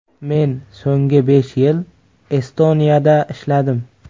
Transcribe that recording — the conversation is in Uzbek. Men so‘nggi besh yil Estoniyada ishladim.